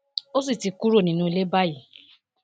ó sì ti kúrò nínú ilé báyìí